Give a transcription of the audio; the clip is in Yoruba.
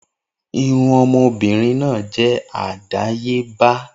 Irun ọmọbìnrin náà je àdáyébá